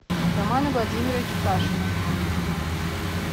романа владимировича кашина